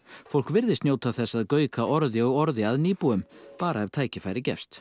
fólk virðist njóta þess að gauka orði og orði að nýbúum bara ef tækifæri gefst